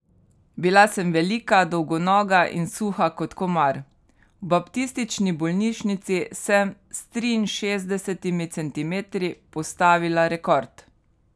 Bila sem velika, dolgonoga in suha kot komar, v Baptistični bolnišnici sem s triinšestdesetimi centimetri postavila rekord.